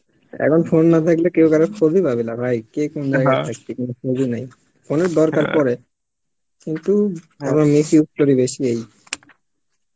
এখন phone না থাকলে কেউ কারোর খোঁজ ও পাবে না ভাই কে কোন জায়গায় আছে কোনো খোঁজ ও নেই phone এর দরকার পরে কিন্তু আমরা missuse করি বেশি এই